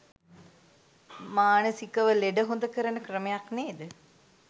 මානසිකව ලෙඩ හොඳ කරන ක්‍රමයක් නේද?